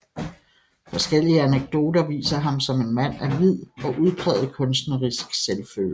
Forskellige anekdoter viser ham som en mand af vid og udpræget kunstnerisk selvfølelse